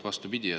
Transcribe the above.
Vastupidi.